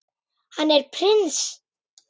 Hann er prins.